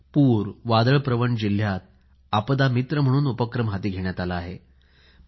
पूर वादळ प्रवण जिल्ह्यात आपदा मित्र म्हणून उपक्रम हाती घेण्यात आला आहे